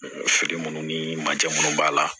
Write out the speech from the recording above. Feere munnu ni mansin munnu b'a la